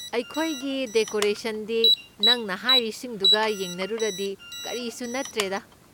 ꯑꯩꯈꯣꯏꯒꯤ ꯗꯦꯀꯣꯔꯦꯁꯟꯗꯤ ꯅꯪꯅ ꯍꯥꯏꯔꯤꯁꯤꯡꯗꯨꯒ ꯌꯦꯡꯅꯔꯨꯔꯗꯤ ꯀꯔꯤꯁꯨ ꯅꯠꯇ꯭ꯔꯦꯗꯥ꯫